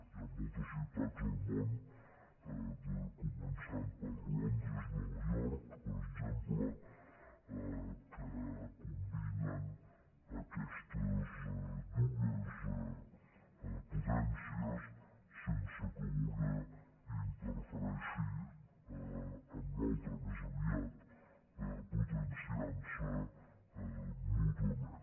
hi ha moltes ciutats al món començant per londres i nova york per exemple que combinen aquestes dues potències sense que una interfereixi en l’altra més aviat potenciant se mútuament